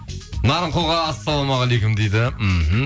нарынқолға ассалаумағалейкум дейді мхм